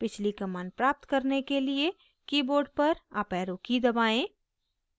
पिछली command प्राप्त करने के लिए board पर अप arrow की दबाएं